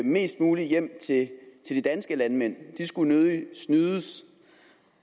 mest muligt hjem til de danske landmænd de skulle nødigt snydes